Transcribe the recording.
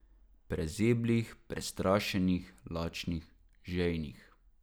Prezeblih, prestrašenih, lačnih, žejnih.